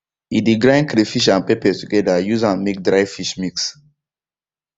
he de grind crayfish and pepper together use am make dry fish mix